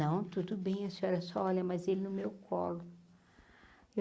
Não, tudo bem, a senhora só olha, mas ele no meu colo.